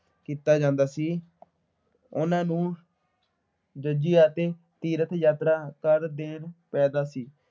ਕੀਤਾ ਜਾਂਦਾ ਸੀ। ਉਨ੍ਹਾਂ ਨੂੰ ਜਜ਼ੀਆ ਅਤੇ ਤੀਰਥ ਯਾਤਰਾ ਕਰ ਦੇਣਾ ਪੈਂਦਾ ਸੀ।